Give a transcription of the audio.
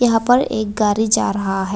यहां पर एक गाड़ी जा रहा है।